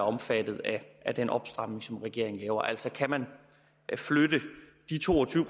omfattet af den opstramning som regeringen laver altså kan man flytte de to og tyve